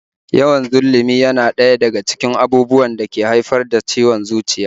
Yawan zullumi yana ɗaya daga cikin abubuwan da ke haifar da ciwon zuciya